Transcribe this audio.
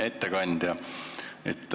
Hea ettekandja!